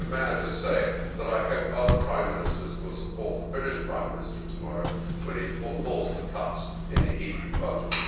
May I just say that I hope other Prime Ministers will support the British Prime Minister tomorrow when he calls for cuts in the EU budget.